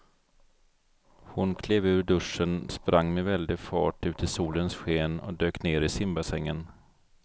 Hon klev ur duschen, sprang med väldig fart ut i solens sken och dök ner i simbassängen.